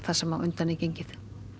það sem á undan er gengið